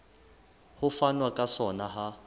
ho fanwa ka sona ha